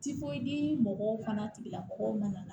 Tifoyidi mɔgɔw fana tigilamɔgɔw nana